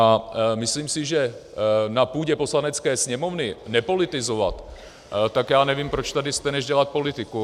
A myslím si, že na půdě Poslanecké sněmovny nepolitizovat, tak já nevím, proč tady jste, než dělat politiku.